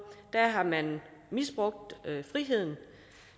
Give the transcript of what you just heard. og hvor